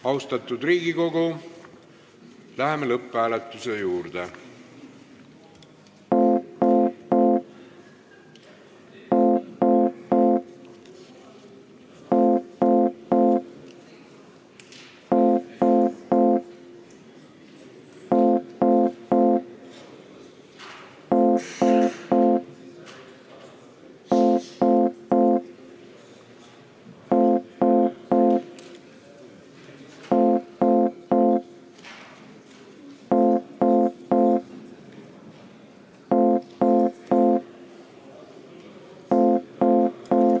Austatud Riigikogu, läheme lõpphääletuse juurde!